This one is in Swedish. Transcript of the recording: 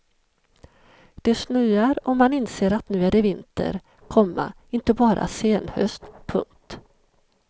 Det snöar och man inser att nu är det vinter, komma inte bara senhöst. punkt